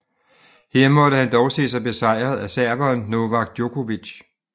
Her måtte han dog se sig besejret af serberen Novak Djokovic